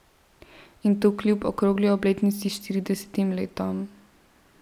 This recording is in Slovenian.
In to kljub okrogli obletnici, štiridesetim letom.